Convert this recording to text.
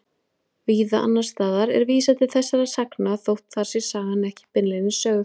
Víða annars staðar er vísað til þessara sagna þótt þar sé sagan ekki beinlínis sögð.